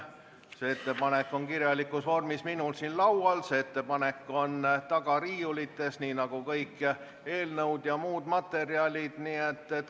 See ettepanek on kirjalikus vormis mul siin laual, see ettepanek on taga riiulites nii nagu eelnõud ja kõik muud materjalid.